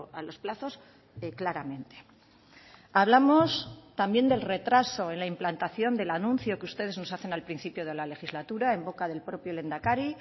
a los plazos claramente hablamos también del retraso en la implantación del anuncio que ustedes nos hacen al principio de la legislatura en boca del propio lehendakari